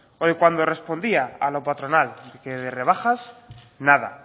o de cuando respondía a la patronal que de rebajas nada